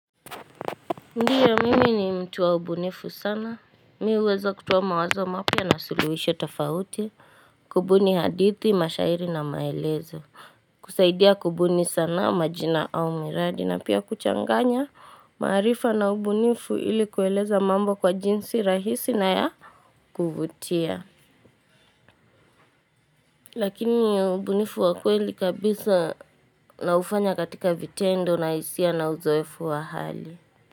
Ndiyo mimi ni mtu wa ubunifu sana. Mimi huweza kutuo mawazo mapya na suluhisho tofauti, kubuni hadithi, mashairi na maelezo. Kusaidia kubuni sana, majina au miradi na pia kuchanganya maarifa na ubunifu ili kueleza mambo kwa jinsi rahisi na ya kuvutia. Lakini ubunifu wa kweli kabisa naufanya katika vitendo na hisia na uzoefu wa hali.